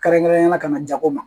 Kɛrɛnkɛrɛnnenya la ka na jago ma